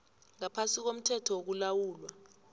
ngaphasi komthetho wokulawulwa